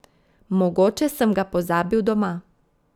Mogoče sem ga pozabil doma.